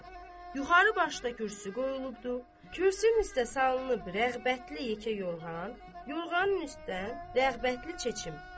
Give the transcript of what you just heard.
Yuxarı başda kürsü qoyulubdur, kürsünün üstdə salınıbdır rəğbətli yekə yorğan, yorğanın üstdən rəğbətli çeçim.